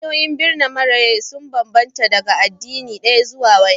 Hanyoyin birna mara rai sun sa ban-ban daga addini ɗaya zuwa wani.